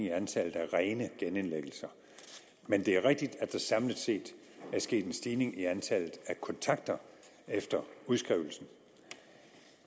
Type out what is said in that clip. i antallet af rene genindlæggelser men det er rigtigt at der samlet set er sket en stigning i antallet af kontakter efter udskrivelsen